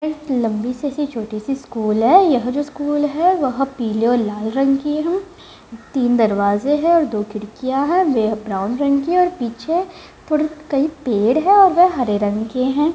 यह एक लम्बी सी छोटी सी स्कूल है यह जो स्कूल है वह पीले और लाल रंग की है तीन दरवाजे हैं और दो खिड़कियाँ हैं वह ब्राउन रंग की है और पीछे थोड़े कई पेड़ हैं और वह हरे रंग के हैं।